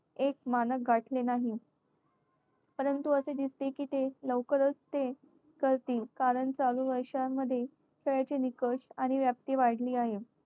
एक मानक गाठले नाही. परंतु असे दिसते की ते लवकरच ते करतील, कारण चालू वर्षांमध्ये खेळाचे निकष आणि व्याप्ती वाढली आहे.